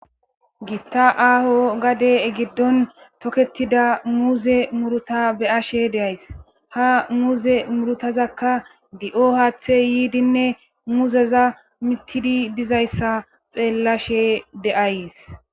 giitta aaho gade giddon toketida muuze muruta be ashe deays ha muuze murutazakka di7o haaththe yiidinne muzeza mittidi dizayssa xeellashe de7ays